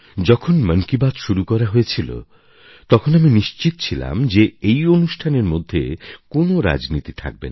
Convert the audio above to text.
যখন মন কি বাত শুরু করা হয়েছিল তখন আমি নিশ্চিত ছিলাম যে এই অনুষ্ঠানের মধ্যে কোনও রাজনীতি থাকবে না